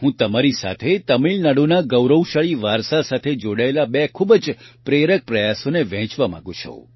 હું તમારી સાથે તમિળનાડુના ગૌરવશાળી વારસા સાથે જોડાયેલા બે ખૂબ જ પ્રેરક પ્રયાસોને વહેંચવા માંગું છું